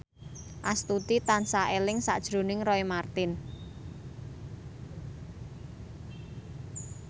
Astuti tansah eling sakjroning Roy Marten